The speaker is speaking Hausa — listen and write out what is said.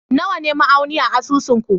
Nawa ne ma'auni a asusun ku?